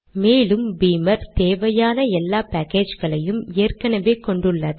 மேலும் பீமர் தேவையான எல்லா பேக்கேஜ்களையும் ஏற்கெனெவே கொண்டுள்ளது